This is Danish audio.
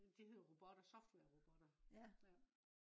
de hedder robotter softwarerobotter ja